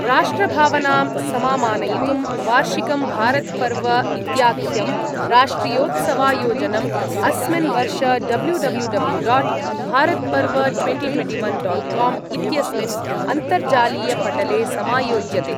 राष्ट्रभावनां समामानयितुं वार्षिकं भारतपर्व इत्याख्यं राष्ट्रियोत्सवायोजनम् अस्मिन् वर्ष W W W dot Bharat Parv twenty twenty one dot com इत्यस्मिन् अन्तर्जालीयपटले समायोज्यते।